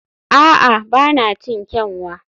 a'a, ba na cin kyanwa